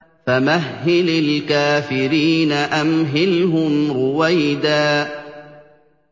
فَمَهِّلِ الْكَافِرِينَ أَمْهِلْهُمْ رُوَيْدًا